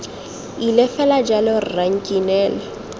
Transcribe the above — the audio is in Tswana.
ile fela jalo rra nkinele